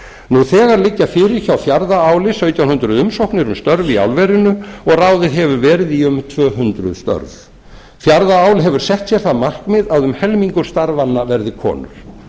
nú þegar liggja fyrir hjá fjarðaáli sautján hundruð umsóknir störf í álverinu og ráðið hefur verið í um tvö hundruð störf fjarðaál hefur sett sér það markmið að um helmingur starfanna verði konur